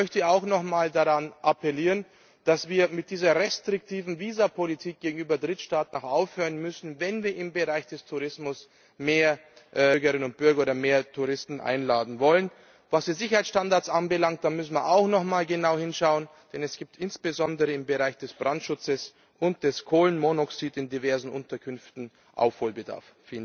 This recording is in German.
Ich möchte auch noch einmal appellieren, dass wir mit restriktiven Visapolitik gegenüber Drittstaaten aufhören müssen, wenn wir im Bereich des Tourismus mehr Bürgerinnen und Bürger oder mehr Touristen einladen wollen. Was die Sicherheitsstandards anbelangt, müssen wir auch noch einmal genau hinschauen, denn es gibt insbesondere im Bereich des Brandschutzes und des Kohlenmonoxids in diversen Unterkünften Aufholbedarf.